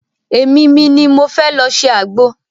Emi mi ni mo fẹ́ lọ ṣe àgbo.